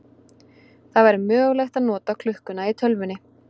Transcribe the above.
Það væri mögulegt að nota klukkuna í tölvunni.